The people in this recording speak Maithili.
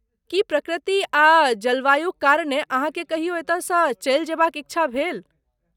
की प्रकृति आ जलवायुक कारणे अहाँकेँ कहियो एतयसँ चलि जयबाक इच्छा भेल?